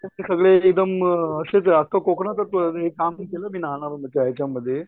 सगळे एकदम अशेच रहातात कोकणात काम ही केलं मी लहानामध्ये हेच्यामध्ये